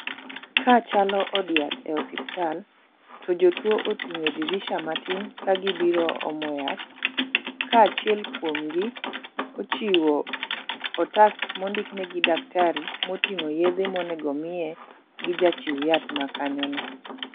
Ka chalo od yath e osiptal to jotuo ochung' e dirisa matin ka gibiro omo yath ka achiel kuom gi ochiwo otas mondik ne gi daktari moting'o yedhe monego miye gi jachiw yath makanyo no.